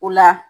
O la